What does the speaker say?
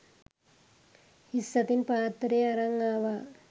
හිස් අතින් පාත්තරය අරන් ආවා.